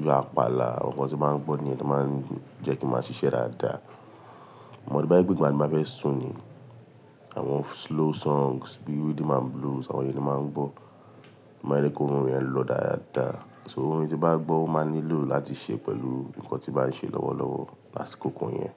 bí àpàlà, àwọn nǹkan tí màá ń gbọ́ nìyẹn tó má ń jẹ́ kí n máa ṣiṣẹ́ dáadáa. Amò to bá jé pe, ngbà tí n ba fẹ́ sùn ni, àwọn slow songs bí rhythm and blues, àwọn ìyẹn ni mo máa ń gbọ́. Ma jẹ ki orun yẹn lọ dáadáa. So orin tí ba gbọ́ o máa n nílò láti ṣe pẹ̀lú nǹkan tí bá ń ṣe lọ́wọ́lọ́wọ́ lásìkòko yẹn.